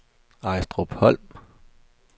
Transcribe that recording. Ejstrupholm